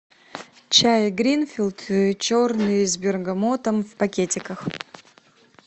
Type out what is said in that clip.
чай гринфилд черный с бергамотом в пакетиках